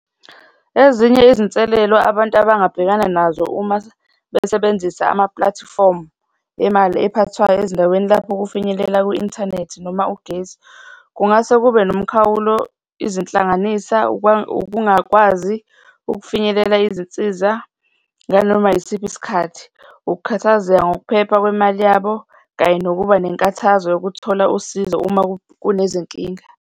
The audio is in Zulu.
Ezinye izinselelo abantu abangabhekana nazo uma besebenzisa amapulatifomu emali ephathwayo ezindaweni lapho kufinyelela ku-inthanethi noma ugesi, kungase kube nomkhawulo, izihlanganisa, ukungakwazi ukufinyelela izinsiza nganoma yisiphi isikhathi, ukukhathazeka ngokuphepha kwemali yabo kanye nokuba nenkathazo yokuthola usizo uma kunezinkinga.